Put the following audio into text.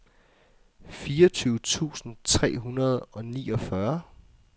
fireogtyve tusind tre hundrede og niogfyrre